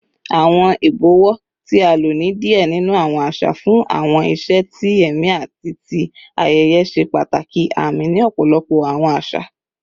Awọn ibọwọ, ti a lo ni diẹ ninu awọn aṣa fun awọn iṣe ti ẹmi ati ti ayẹyẹ, ṣe pataki aami ni ọpọlọpọ awọn aṣa.